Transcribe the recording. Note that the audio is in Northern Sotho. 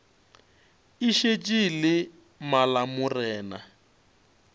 e šetše e le malamorena